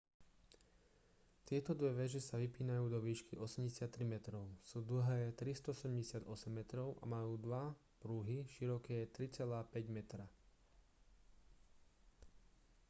tieto dve veže sa vypínajú do výšky 83 metrov sú dlhé 378 metrov a majú dva pruhy široké 3,50 metra